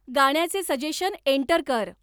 गाण्याचे suggestion enter कर